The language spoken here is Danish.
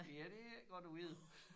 Ja det ikke godt at vide